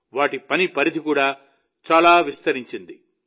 వాటి పని పరిధి కూడా చాలా విస్తరించింది